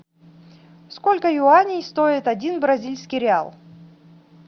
сколько юаней стоит один бразильский реал